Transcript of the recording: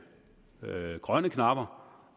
grønne knapper